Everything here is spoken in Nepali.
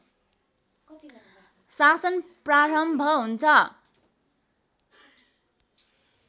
शासन प्रारम्भ हुन्छ